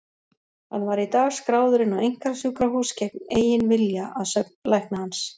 Hann var í dag skráður inn á einkasjúkrahús gegn eigin vilja, að sögn lækna hans.